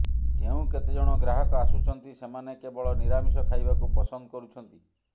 ଯେଉଁ କେତେ ଜଣ ଗ୍ରାହକ ଆସୁଛନ୍ତି ସେମାନେ କେବଳ ନିରାମିଷ ଖାଇବାକୁ ପସନ୍ଦ କରୁଛନ୍ତି